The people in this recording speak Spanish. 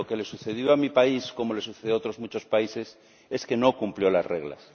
Lo que le sucedió a mi país, como les sucede a otros muchos países, es que no cumplió las reglas.